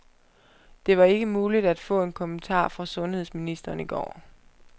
Det var ikke muligt at få en kommentar fra sundhedsministeren i går.